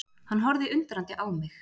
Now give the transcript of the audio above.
Hann horfði undrandi á mig.